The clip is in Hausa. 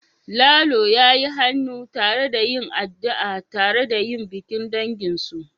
Lalo ya yi hannu tare da yin addu'a tare yayin bikin danginsu